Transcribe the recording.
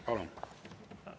Palun!